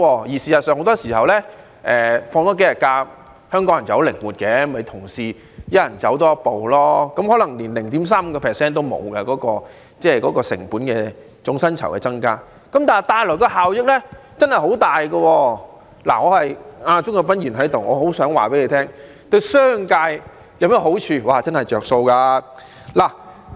事實上，很多時候香港人是很靈活的，即使多放數天假期，只要同事間每人多走一步，總薪酬成本的增加可能連 0.35% 也沒有，但帶來的效益卻很大——正好鍾國斌議員在席——我很想告訴他，此舉對商界有甚麼好處，真的是有"着數"。